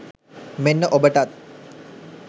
මෙන්න ඔබටත්